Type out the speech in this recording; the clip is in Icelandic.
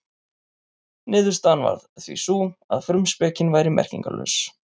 Niðurstaðan varð því sú að frumspekin væri merkingarlaus.